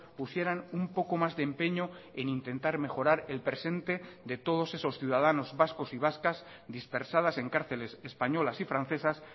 pusieran un poco más de empeño en intentar mejorar el presente de todos esos ciudadanos vascos y vascas dispersadas en cárceles españolas y francesas